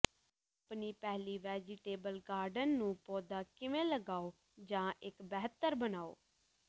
ਆਪਣੀ ਪਹਿਲੀ vegetable garden ਨੂੰ ਪੌਦਾ ਕਿਵੇਂ ਲਗਾਓ ਜਾਂ ਇੱਕ ਬਿਹਤਰ ਬਣਾਉ